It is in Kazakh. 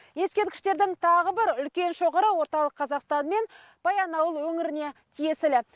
ескерткіштердің тағы бір үлкен шоғыры орталық қазақстан мен баянауыл өңіріне тиесілі